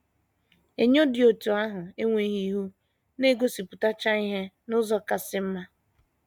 Enyo dị otú ahụ enweghị ihu na - egosipụtacha ihe n’ụzọ kasị mma.